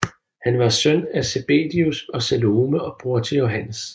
Han var søn af Zebedæus og Salome og bror til Johannes